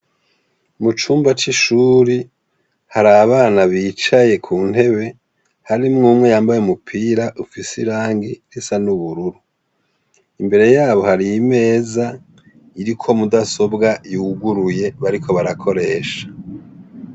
Mu cumba c'ishure hari abana bicaye ku ntebe harimwo umwe yambaye umupira ufise irangi risa n'ubururu. Imbere yabo hari imeza iriko mudasobwa yuguruye bariko barakoresha.